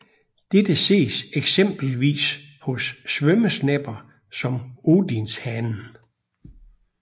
Dette ses eksempelvis hos svømmesnepper som odinshanen